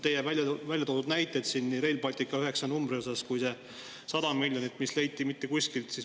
Teie tõite siin näiteid Rail Balticu üheksa numbri kohta ja selle 100 miljoni kohta, mis kuskilt leiti.